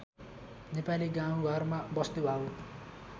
नेपाली गाउँघरमा वस्तुभाउ